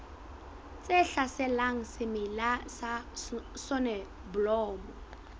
tse hlaselang semela sa soneblomo